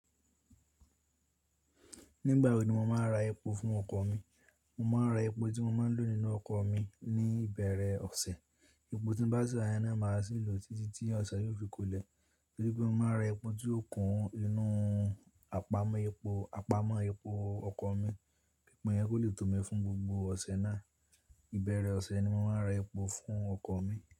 Nígbà wo ni mo màá n ra epo fún ọkọ̀ mi? Mo máa ra epo tí mo máa lò nínú ọkọ̀ mi ní ìbẹ̀rẹ̀ ọ̀sẹ̀. Epo tín bá sì ra náà màá sì lò títí tí ọ̀sẹ̀ yóò fi kólẹ̀. Torí pé mo máa ra epo tí yóò kún inú àpamọ́ epo ọkọ̀ mi, epo yẹn kó lè tó mi fún gbogbo ọ̀sẹ̀ náà. Ìbẹ̀rẹ̀ ọ̀sẹ̀ ni mo máa ra epo fún ọkọ̀ mi.